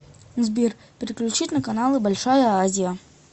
сбер переключить на каналы большая азия